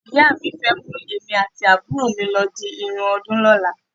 Ìyá mi fẹ́ mú èmi àti àbúrò mi lọ di irun ọdún lọ́la.